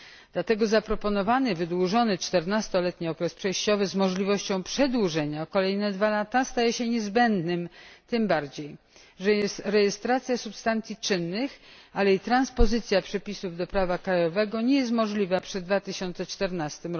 Dlatego zaproponowany wydłużony, czternastoletni okres przejściowy z możliwością przedłużenia o kolejne dwa lata staje się niezbędny tym bardziej, że rejestracja substancji czynnych, ale i transpozycja przepisów do prawa krajowego nie jest możliwa przed 2014